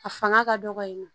A fanga ka dɔgɔ yen nɔ